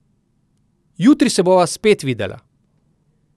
Jutri se bova spet videla.